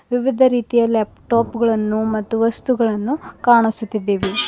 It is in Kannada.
ವಿವಿಧ ರೀತಿಯ ಲ್ಯಾಪ್ಟಾಪ್ ಗಳನ್ನು ಮತ್ತು ವಸ್ತುಗಳನ್ನು ಕಾಣಿಸುತ್ತಿದ್ದೇವೆ.